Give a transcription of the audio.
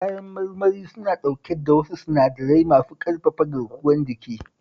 Kayan marmari suna dauke da wasu sinadarai masu ƙarfafa garkuwar jiki